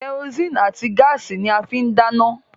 Kẹrosíìnì àti gáàsì ni wọ́n fín ń dáná